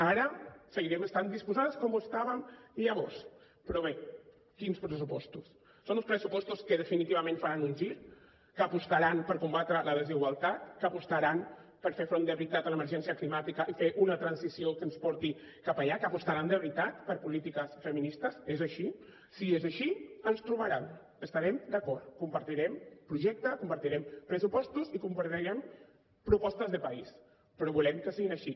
ara seguirem estant disposades com ho estàvem llavors però bé quins pressupostos són uns pressupostos que definitivament faran un gir que apostaran per combatre la desigualtat que apostaran per fer front de veritat a l’emergència climàtica i fer una transició que ens porti cap allà que apostaran de veritat per polítiques feministes és així si és així ens hi trobaran estarem d’acord compartirem projecte compartirem pressupostos i compartirem propostes de país però volem que siguin així